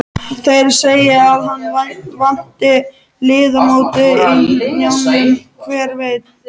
Þeir segja að hann vanti liðamót í hnjánum, hver veit?